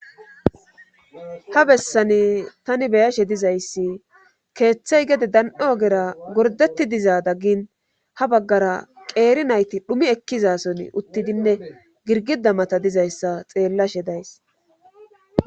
ha bessani tani beyashe dizayssi keeththey gede dan7o ogera gordetti diza daggin ha baggara qeeri nayti dhumi ekkizason uttidinne girgida mata dizayssa xeellashe days